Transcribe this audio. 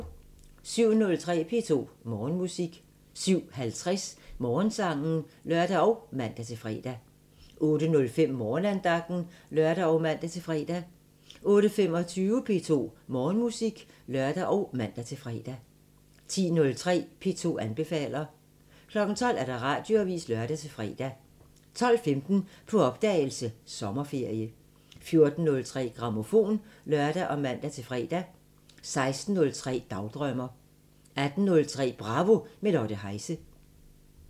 07:03: P2 Morgenmusik 07:50: Morgensangen (lør og man-fre) 08:05: Morgenandagten (lør og man-fre) 08:25: P2 Morgenmusik (lør og man-fre) 10:03: P2 anbefaler 12:00: Radioavisen (lør-fre) 12:15: På opdagelse – Sommerferie 14:03: Grammofon (lør og man-fre) 16:03: Dagdrømmer 18:03: Bravo – med Lotte Heise